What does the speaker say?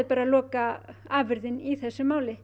bara lokaafurðin í þessu máli